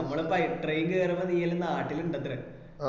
നമ്മൾ പൈ train കേറുമ്പോൾ നീയെല്ലോ നാട്ടിൽ ഇണ്ടെത്രെ